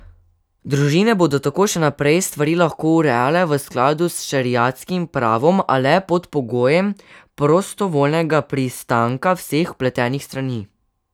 Družine bodo tako še naprej stvari lahko urejale v skladu s šeriatskim pravom, a le pod pogojem prostovoljnega pristanka vseh vpletenih strani.